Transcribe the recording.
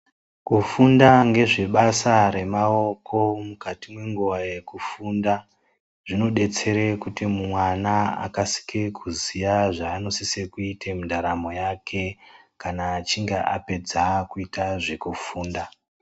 Kufunda ngezvebasa remaoko mwukati mwenguwa yekufunda zvinodetsere kuti mwana akasike kuziya zvaanosise kuite mundaramo yake kana achinge apedza kuita zvekufunda.